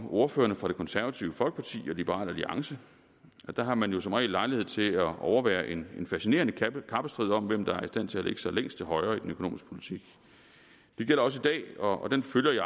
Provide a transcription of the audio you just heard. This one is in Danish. ordførerne fra det konservative folkeparti og liberal alliance der har man jo som regel lejlighed til at overvære en fascinerende kappestrid om hvem der er i stand til at lægge sig længst til højre i den økonomiske politik det gælder også i dag og den følger jeg